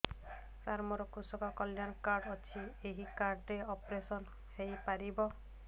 ସାର ମୋର କୃଷକ କଲ୍ୟାଣ କାର୍ଡ ଅଛି ଏହି କାର୍ଡ ରେ ଅପେରସନ ହେଇପାରିବ